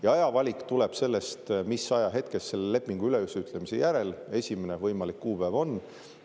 Ja aja valik tuleb sellest, mis ajahetkest selle lepingu ülesütlemise järel esimene võimalik kuupäev on.